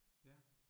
Ja